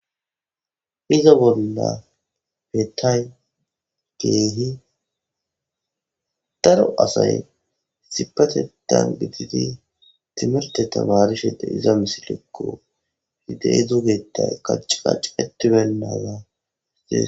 iza bolla bettiya geehi daro asay sipatedan gitidi timirte tabarishede iza misilekko hidey dugeta kaccacetibennaadae